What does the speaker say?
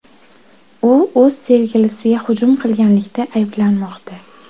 U o‘z sevgilisiga hujum qilganlikda ayblanmoqda.